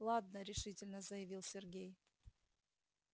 ладно решительно заявил сергей